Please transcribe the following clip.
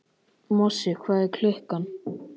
Mosi, hvað er klukkan?